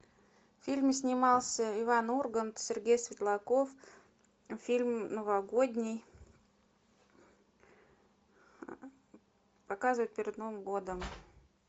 в фильме снимался иван ургант сергей светлаков фильм новогодний показывают перед новым годом